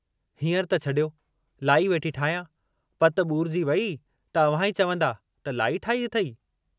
हींअर त छॾियो, लाई वेठी ठाहियां, पत बूरजी वेई त अव्हां ई चवंदा त लाई ठाही अथेई?